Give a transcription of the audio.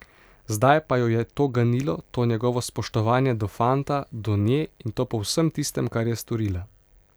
Zdaj pa jo je to ganilo, to njegovo spoštovanje do fanta, do nje, in to po vsem tistem, kar je storila.